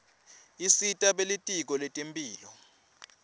isita belitiko letemphilo